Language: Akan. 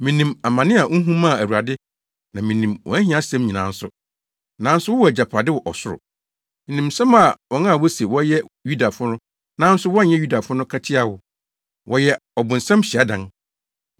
Minim amane a wuhu maa Awurade na minim wʼahiasɛm nyinaa nso, nanso wowɔ agyapade wɔ ɔsoro. Minim nsɛm a wɔn a wose wɔyɛ Yudafo nanso wɔnyɛ Yudafo no ka tia wo. Wɔyɛ ɔbonsam hyiadan.